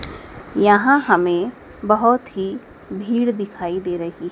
यहां हमें बहोत ही भीड़ दिखाई दे रही--